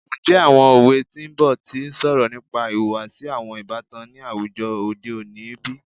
Njẹ awọn owe ti n bọ ti n sọrọ nipa ihuwasi awọn ibatan ni awujọ ode oni bi?